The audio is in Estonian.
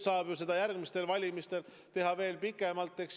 Järgmistel valimistel saab hääletada veel pikemalt.